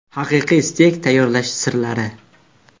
Haqiqiy steyk tayyorlash sirlari.